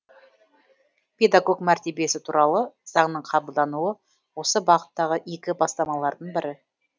педагог мәртебесі туралы заңның қабылдануы осы бағыттағы игі бастамалардың бірі